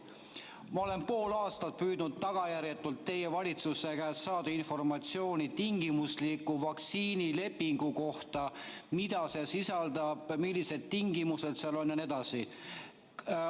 Ma olen pool aastat püüdnud tagajärjetult teie valitsuse käest saada informatsiooni tingimusliku vaktsiinilepingu kohta: mida see sisaldab, millised tingimused seal on jne.